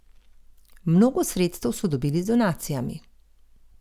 Mnogo sredstev so dobili z donacijami.